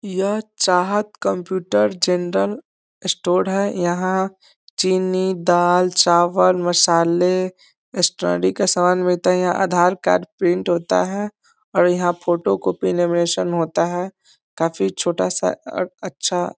यह Chahat computer general store है यहाँ चीनी दाल चावल मसाले स्टडी का सामान मिलता है यहां आधार कार्ड प्रिंट होता है और यहाँ फोटो कॉपी लेमिनेशन होता है काफी छोटा-सा और अच्छा --